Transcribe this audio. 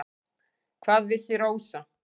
Hvað vissi Rósa.